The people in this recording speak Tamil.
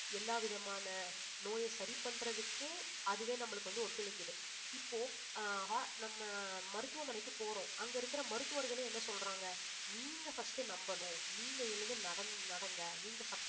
எல்லாவிதமான நோயை சரி பண்றதுக்கும் அதுவே நம்மளுக்கு வந்து ஒத்துழைக்குது இப்போ ஆஹ் ho~ நம்ம மருத்துவமனைக்கு போறோம் அங்க இருக்கிற மருத்துவர்களே என்ன சொல்றாங்க நீங்க first நம்பணும் நீங்க எழுந்து நட~ நடங்க நீங்க